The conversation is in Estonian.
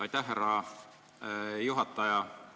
Aitäh, härra juhataja!